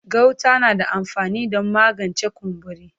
Gauta na da amfani don magance kumburi.